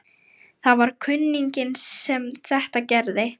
Það var kunninginn sem þetta gerði.